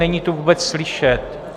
Není tu vůbec slyšet.